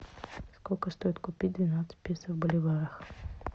сколько стоит купить двенадцать песо в боливарах